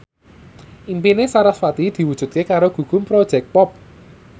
impine sarasvati diwujudke karo Gugum Project Pop